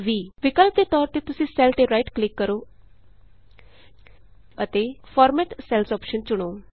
ਵਿਕਲਪ ਦੇ ਤੌਰ ਵਿਚ ਤੁਸੀਂ ਸੈੱਲ ਤੇ ਰਾਈਟ ਕਲਿਕ ਕਰੋ ਅਤੇ ਫਾਰਮੈਟ ਸੈਲਜ਼ ਅੋਪਸ਼ਨ ਚੁਣੋ